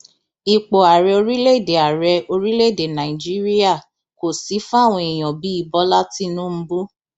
ipò ààrẹ orílẹèdè ààrẹ orílẹèdè nàíjíríà kò sì fáwọn èèyàn bíi bọlá tìǹbù